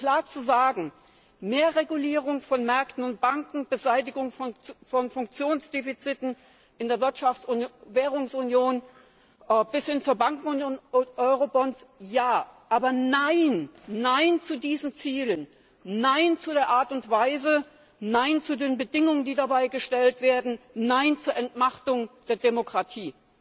Um es klar zu sagen Mehr Regulierung von Märkten und Banken, Beseitigung von Funktionsdefiziten in der Wirtschafts und Währungsunion bis hin zur Bankenunion und Eurobonds Ja. Aber nein zu diesen Zielen, nein zu der Art und Weise, nein zu den Bedingungen, die dabei gestellt werden, nein zur Entmachtung der Demokratie!